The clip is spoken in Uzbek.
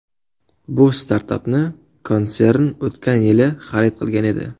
Bu startapni konsern o‘tgan yili xarid qilgan edi.